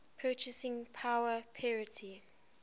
purchasing power parity